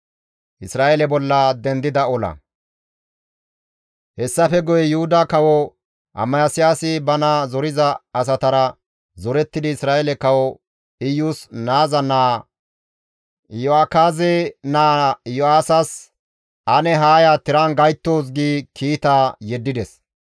Hessafe guye Yuhuda Kawo Amasiyaasi bana zoriza asatara zorettidi Isra7eele kawo Iyus naaza naa Iyo7akaaze naa Iyo7aasas, «Ane haa ya tiran gayttoos» gi kiita yeddides.